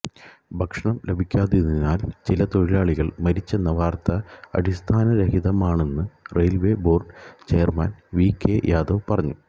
ഭക്ഷണം ലഭിക്കാത്തതിനാൽ ചില തൊഴിലാളികൾ മരിച്ചെന്ന വാർത്ത അടിസ്ഥാനരഹിതമാണെന്ന് railway board chairman V K Yadav പറഞ്ഞു